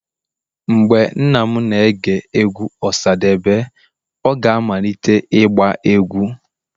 Mgbe nna m na-ege egwu osadebe, ọ ga-amalite ịgba egwu.